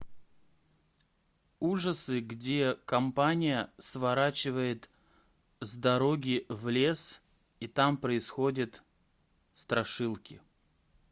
ужасы где компания сворачивает с дороги в лес и там происходят страшилки